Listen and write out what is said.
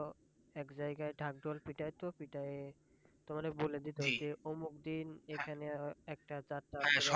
এক জায়গায় ঢাক ঢোল পিটায় তো পিটাইয়ে তোমাদের বলে দিত অমুখ দিন এখানে একটা যাত্রাপালা।